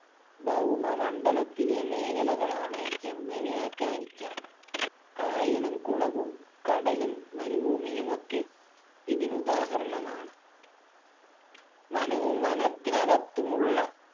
ഭൗമ മണ്ഡലത്തിലെ മേഖലകളാണ് എന്ന് വ്യാഖ്യാനിക്കാം കായലും കുളവും കടലും മരുഭൂമിയുമൊക്കെ ഇതിനുദാഹരണമാണ് വനവും വനത്തിനകത്തുമുള്ള